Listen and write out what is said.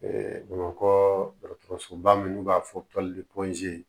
bamakɔsoba minnu b'a fɔ tɔli koze